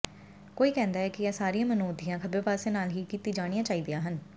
ਕੋਈ ਕਹਿੰਦਾ ਹੈ ਕਿ ਇਹ ਸਾਰੀਆਂ ਮਨੋਧੀਆਂ ਖੱਬੇਪਾਸੇ ਨਾਲ ਹੀ ਕੀਤੀਆਂ ਜਾਣੀਆਂ ਚਾਹੀਦੀਆਂ ਹਨ